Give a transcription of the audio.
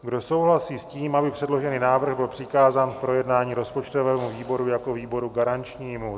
Kdo souhlasí s tím, aby předložený návrh byl přikázán k projednání rozpočtovému výboru jako výboru garančnímu?